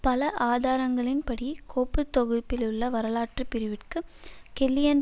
பல ஆதாரங்களின்படி கோப்பு தொகுப்பிலுள்ள வரலாற்று பிரிவிற்குக் கெல்லியன்